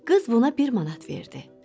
Qız buna bir manat verdi.